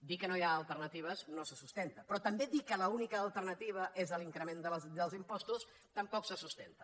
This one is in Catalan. dir que no hi ha alternatives no se sustenta però també dir que l’única alternativa és l’increment dels impostos tampoc se sustenta